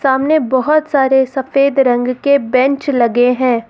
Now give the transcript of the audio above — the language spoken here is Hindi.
सामने बहुत सारे सफेद रंग के बेंच लगे हैं।